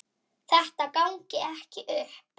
Þetta gangi ekki upp.